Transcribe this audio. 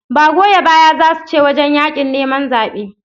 Ba goya baya zasu ce wajan yaƙin neman zabe